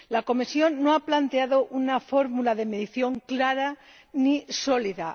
La Comisión no ha planteado una fórmula de medición clara ni sólida.